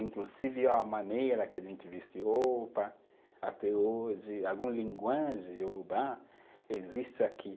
Inclusive a maneira que a gente veste roupa até hoje, alguma linguagem Iorubá existe aqui.